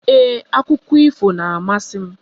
Ee, Akụkọ ifo na-amasị m